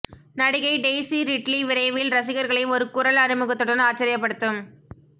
நடிகை Daisy Ridley விரைவில் ரசிகர்களை ஒரு குரல் அறிமுகத்துடன் ஆச்சரியப்படுத்தும்